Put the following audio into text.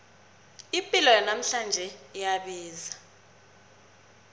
ipilo yanamhlanje iyabiza